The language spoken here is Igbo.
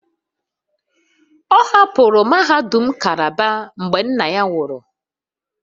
Ọ hapụrụ mahadum Calabar mgbe nna ya nwụrụ